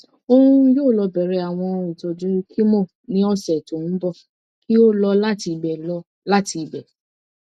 oun yoo lọ bẹrẹ awọn itọju chemo ni ọsẹ to nbọ ki o lọ lati ibẹ lọ lati ibẹ